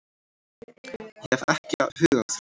Ég hef ekki hug á því